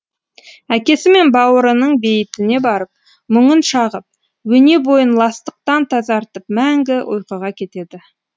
әкесі мен бауырының бейітіне барып мұңын шағып өне бойын ластықтан тазартып мәңгі ұйқыға кетеді